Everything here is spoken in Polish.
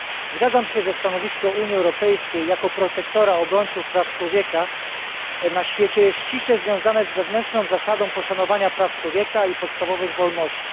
Zgadzam się, że stanowisko Unii Europejskiej jako protektora obrońców praw człowieka na świecie jest ściśle związane z wewnętrzną zasadą poszanowania praw człowieka i podstawowych wolności.